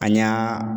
An y'a